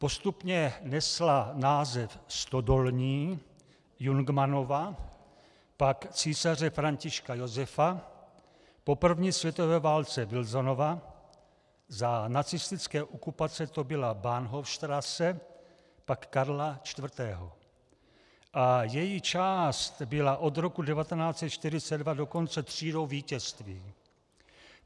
Postupně nesla název Stodolní, Jungmannova, pak Císaře Františka Josefa, po první světové válce Wilsonova, za nacistické okupace to byla Bahnhofstrasse, pak Karla IV., a její část byla od roku 1942 dokonce Třídou vítězství.